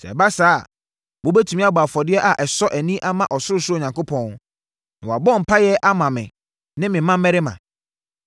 Sɛ ɛba saa a, wɔbɛtumi abɔ afɔdeɛ a ɛsɔ ani ama ɔsorosoro Onyankopɔn, na wɔabɔ mpaeɛ ama me ne me mmammarima.